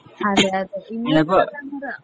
അതെ അതെ ഇനിയിപ്പോ